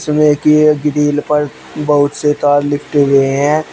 एक ये ग्रिल पर बहुत से तार लिपटे हुए हैं।